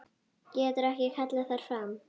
Getur ekki kallað þær fram.